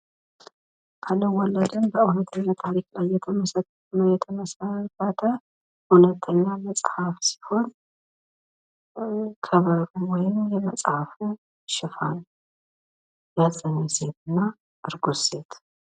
አልወለድም የሚል በእውነተኛ ታሪክ የተመሠረተ እውነተኛ መጽሐፍ ሲሆን ከበሩን የመጽሐፉ ሽፋን የመጽሐፉ ርእስና እርጉዝ ሴት